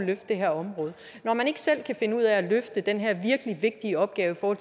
løfte det her område når man ikke selv kan finde ud af at løfte den her virkelig vigtige opgave for